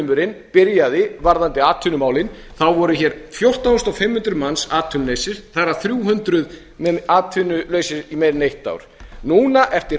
loforðaflaumurinn byrjaði varðandi atvinnumálin þá voru fjórtán þúsund fimm hundruð manns atvinnulausir þar af þrjú hundruð atvinnulausir í meira en eitt ár núna eftir